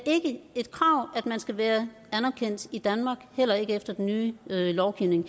et krav at man skal være anerkendt i danmark heller ikke efter den nye lovgivning